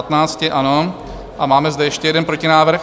Ano a máme zde ještě jeden protinávrh.